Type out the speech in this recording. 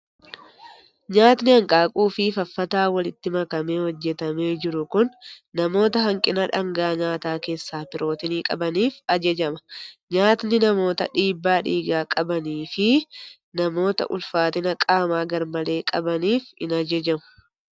Nyaatni hanqaaquu fi faffataa walitti makamee hojjetamee jiru kun namoota hanqina dhaangaa nyaataa keessaa pirootinii qabaniif ajajama. Nyaatni namoota dhiibbaa dhiigaa qabanii fi namoota ulfaatina qaamaa garmalee qabaniif hin ajajamu.